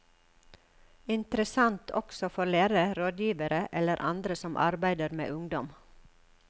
Interessant også for lærere, rådgivere eller andre som arbeider med ungdom.